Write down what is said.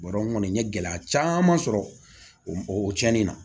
Bɔrɔ kɔni n ye gɛlɛya caman sɔrɔ o cɛnni na